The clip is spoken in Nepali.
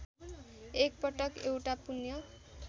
एकपटक एउटा पुण्य